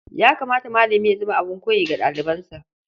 Ya kamata malami ya zama abin koyi ga ɗalibansa.